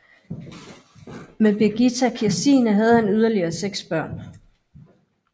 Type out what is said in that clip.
Med Birgitta Kirstine havde han yderligere seks børn